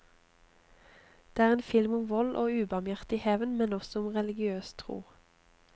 Det er en film om vold og ubarmhjertig hevn, men også om religiøs tro.